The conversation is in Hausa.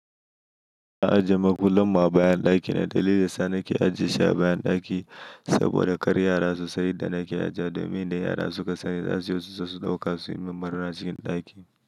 Na ajiye ma kullun ma bayan ɗaki na dalili sa nake ajiye shi a bayan ɗaki saboda kar yara su sani idan nake ajiya domin da yara suka sani za su zo su sauƙa su yimin ɓarna a cikin ɗaki.